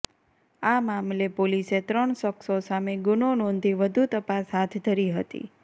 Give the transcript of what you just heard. આ મામલે પોલીસે ત્રણ શખ્સો સામે ગુનો નોંધી વધુ તપાસ હાથ ધરી હતી